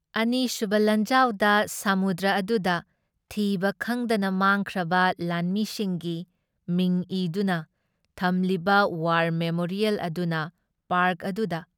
ꯑꯅꯤꯁꯨꯕ ꯂꯥꯟꯖꯥꯎꯗ ꯁꯃꯨꯗ꯭ꯔ ꯑꯗꯨꯗ ꯊꯤꯕ ꯈꯪꯗꯅ ꯃꯥꯡꯈ꯭ꯔꯕ ꯂꯥꯟꯃꯤꯁꯤꯡꯒꯤ ꯃꯤꯡ ꯏꯗꯨꯅ ꯊꯝꯂꯤꯕ ꯋꯥꯔ ꯃꯦꯃꯣꯔꯤꯌꯦꯜ ꯑꯗꯨꯅ ꯄꯥꯔꯛ ꯑꯗꯨꯗ